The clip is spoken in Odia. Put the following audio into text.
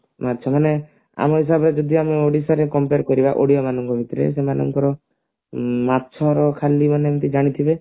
ମାଛ ମାନେ ଆମ ହିସାବରେ ଯଦି ଆମ ଓଡିଶାରେ compare କରିବା ଓଡିଆ ମାନଙ୍କ ଭିତରେ ସେମାନଙ୍କର ମାଛ ର ଖାଲି ମାନେ ଏମତି ଜାଣିଥିବେ